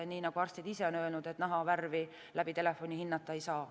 Nii nagu arstid ise on öelnud, et naha värvi läbi telefoni hinnata ei saa.